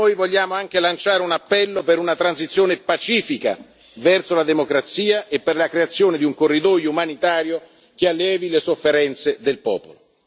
Vogliamo anche lanciare un appello per una transizione pacifica verso la democrazia e per la creazione di un corridoio umanitario che allevi le sofferenze del popolo.